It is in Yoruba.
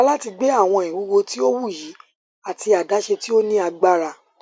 yẹra lati gbe awọn iwuwo ti o wuyi ati adaṣe ti o ni agbara